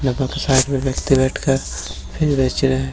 लगभग साथ व्यक्ति बैठ कर बेच रहे है।